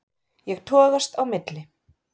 Ég togast á milli.